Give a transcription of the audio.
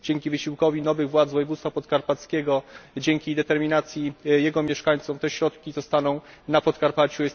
Dzięki wysiłkowi nowych władz województwa podkarpackiego i dzięki determinacji jego mieszkańców te środki zostaną na Podkarpaciu.